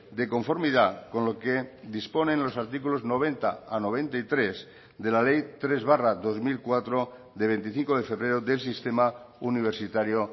de conformidad con lo que disponen los artículos noventa a noventa y tres de la ley tres barra dos mil cuatro de veinticinco de febrero del sistema universitario